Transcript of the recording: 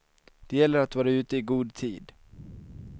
Det gäller att vara ute i god tid.